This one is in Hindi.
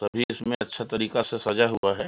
सभी इसमें अच्छा तरीका से सजा हुआ हैं।